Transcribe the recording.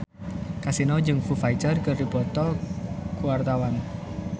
Kasino jeung Foo Fighter keur dipoto ku wartawan